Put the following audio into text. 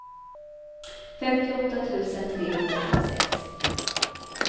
femtioåtta tusen trehundraåttiosex